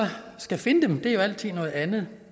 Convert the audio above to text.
skal findes er jo altid noget andet